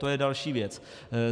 To je další věc.